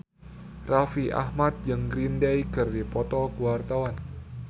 Raffi Ahmad jeung Green Day keur dipoto ku wartawan